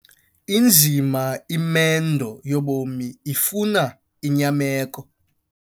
Inzima imendo yobomi ifuna inyameko.